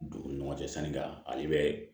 Dugu ni ɲɔgɔn cɛ sanika ale bɛ